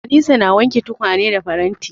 Anisa na wanke tukwane da faranti.